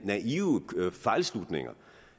fejlslutninger